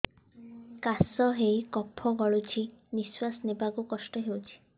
କାଶ ହେଇ କଫ ଗଳୁଛି ନିଶ୍ୱାସ ନେବାକୁ କଷ୍ଟ ହଉଛି